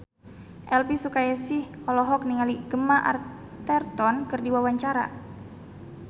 Elvy Sukaesih olohok ningali Gemma Arterton keur diwawancara